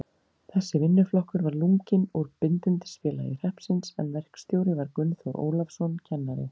Þessi vinnuflokkur var lunginn úr Bindindisfélagi hreppsins, en verkstjóri var Gunnþór Ólafsson, kennari.